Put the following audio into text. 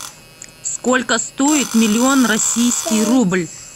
сколько стоит миллион российский рубль